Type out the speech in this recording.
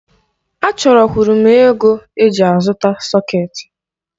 Achọrọ kwuru m ego eji azụta sọketi.